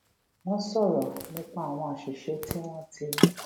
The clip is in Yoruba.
wón sòrò nípa àwọn àṣìṣe tí wón ti